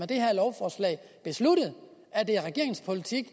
det her lovforslag besluttet at det er regeringens politik